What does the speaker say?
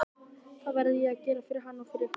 Það verði ég að gera fyrir hann og fyrir ykkur!